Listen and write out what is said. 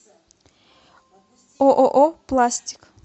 ооо пластик